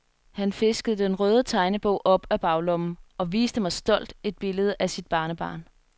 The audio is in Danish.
Han fiskede den røde tegnebog op af baglommen og viste mig stolt et billede af sit barnebarn.